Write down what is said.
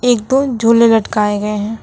एक दो झूलें लटकायें गये है।